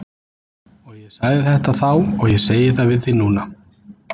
Og ég sagði þetta þá og ég segi það við þig núna.